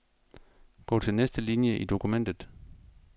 Gå til næste linie i dokumentet.